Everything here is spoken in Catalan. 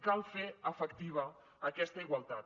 cal fer efectiva aquesta igualtat